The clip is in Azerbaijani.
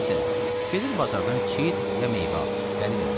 Məsələn, gedir bazardan çit ya meyvə alır, gəlir evə.